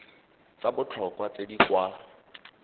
tsa botlhokwa tse di kwa